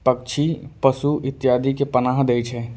पक्षी पशु इत्यदि के पनाह दे छै।